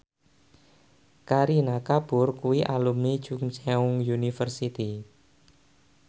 Kareena Kapoor kuwi alumni Chungceong University